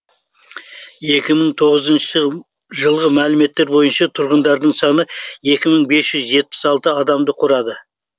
екі мың тоғызыншы жылғы мәліметтер бойынша тұрғындарының саны екі мың бес жүз жетпіс алты адамды құрады